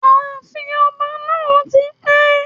Ààfin ọba náà ti pẹ́